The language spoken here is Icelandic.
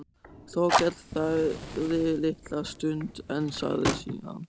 Þórkell þagði litla stund en sagði síðan